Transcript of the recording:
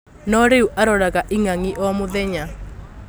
No rĩu aroraga ing'ang'i o mũthenya.